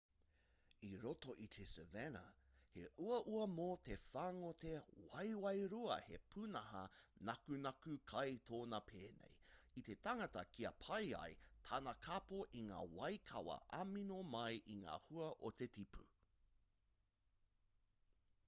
i roto i te savanna he uaua mō te whāngote waewae-rua he pūnaha nakunaku kai tōnā pēnei i te tangata kia pai ai tana kapo i ngā waikawa amino mai i ngā hua o te tipu